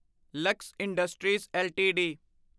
Lux industries LTD